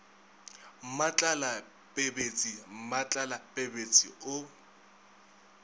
mmatlala pebetse mmatlala pebetse o